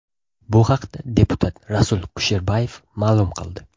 Bu haqda deputat Rasul Kusherbayev ma’lum qildi .